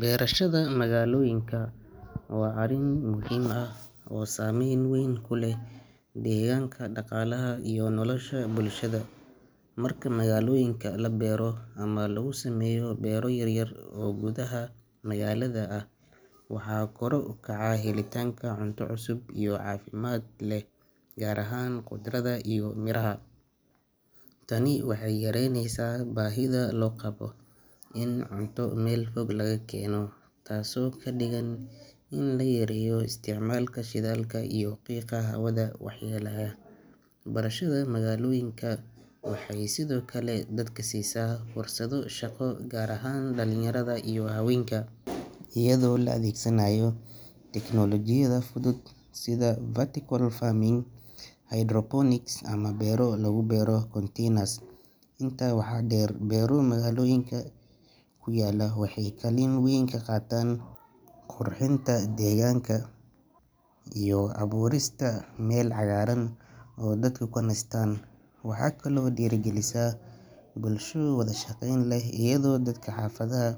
Berashada magaalooyinka waa arrin muhiim ah oo saamayn weyn ku leh deegaanka, dhaqaalaha iyo nolosha bulshada. Marka magaalooyinka la beero ama lagu sameeyo beero yaryar oo gudaha magaalada ah, waxaa kor u kaca helitaanka cunto cusub oo caafimaad leh, gaar ahaan khudradda iyo miraha. Tani waxay yaraynaysaa baahida loo qabo in cunto meel fog laga keeno, taasoo ka dhigan in la yareeyo isticmaalka shidaalka iyo qiiqa hawada waxyeeleeya. Berashada magaalooyinka waxay sidoo kale dadka siisaa fursado shaqo, gaar ahaan dhalinyarada iyo haweenka, iyadoo la adeegsanayo tignoolajiyada fudud sida vertical farming, hydroponics, ama beero lagu beero containers. Intaa waxaa dheer, beero magaalooyinka ku yaalla waxay kaalin weyn ka qaataan qurxinta deegaanka iyo abuurista meel cagaaran oo dadku ku nastaan. Waxay kaloo dhiirrigelisaa bulsho wada shaqayn leh, iyadoo dadka xaafadaha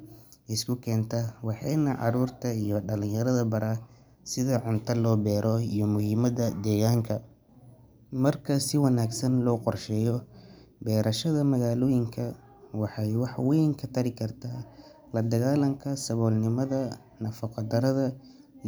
isku keenta, waxayna carruurta iyo dhalinyarada baraa sida cunto loo beero iyo muhiimadda deegaanka. Marka si wanaagsan loo qorsheeyo, berashada magaalooyinka waxay wax weyn ka tari kartaa la dagaallanka saboolnimada, nafaqo darrada, iyo.